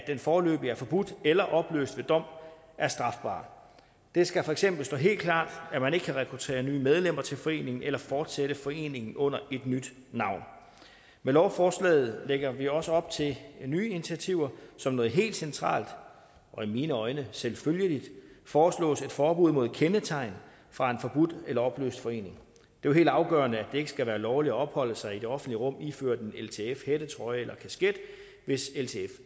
er foreløbig forbudt eller opløst ved dom er strafbar det skal for eksempel stå helt klart at man ikke kan rekruttere nye medlemmer til foreningen eller fortsætte foreningen under et nyt navn med lovforslaget lægger vi også op til nye initiativer som noget helt centralt og i mine øjne selvfølgeligt foreslås et forbud mod kendetegn fra en forbudt eller opløst forening det jo helt afgørende at det ikke skal være lovligt at opholde sig i det offentlige rum iført en ltf hættetrøje eller kasket hvis ltf